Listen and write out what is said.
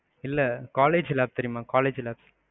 இல்ல, college lab தெரியுமா? college lab